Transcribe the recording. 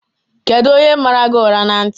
Kedụ onye mara gị ụra na ntị?